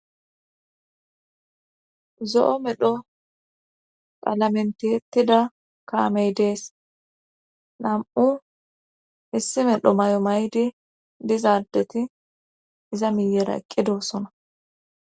Zo7o medho palamentiyettida kaamey dees nam7u hissi medho may7o maydi dizaadeti iza miyera eqqidossona